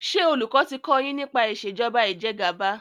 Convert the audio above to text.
ṣe olùkó ti kò yín nípa Ìṣèjọba Ìjẹgàba.